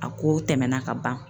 A kow tɛmɛna kaban.